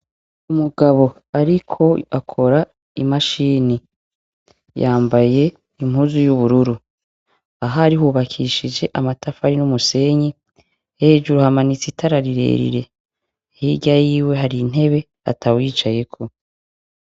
Umugabo ariko akora imashini, yambaye impuzu y'ubururu ahari hubakishije amatafari n'umusenyi, hejuru hamanitse itara rirerire, hirya yiwe hari intebe atawuyicayeko.